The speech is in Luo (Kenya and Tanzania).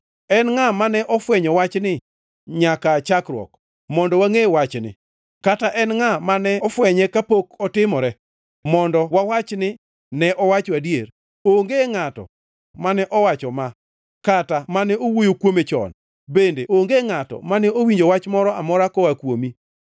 En ngʼa mane ofwenyo wachni nyaka aa chakruok, mondo wangʼe wachni kata en ngʼa mane fwenye kapok otimore mondo ne wawachi ni, ‘Ne owacho adier’? Onge ngʼato mane owacho ma kata mane owuoyo kuome chon, bende onge ngʼato mane owinjo wach moro amora koa kuomi.